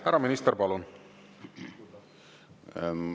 Härra minister, palun!